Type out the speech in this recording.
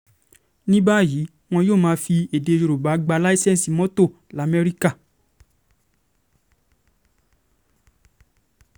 um ní báyìí wọn yóò máa fi èdè um yorùbá gbá làǹṣeǹsì mọ́tò lamẹ́ríkà